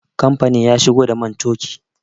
Kamfanin ya shigo da man toki